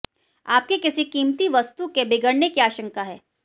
आपकी किसी कीमती वस्तु के बिगड़ने की आशंका है